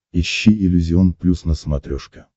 ищи иллюзион плюс на смотрешке